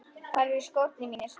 Hvar eru skórnir mínir?